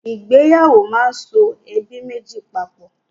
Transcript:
Ìgbéyàwó máa ń so ẹbí méjì papọ̀.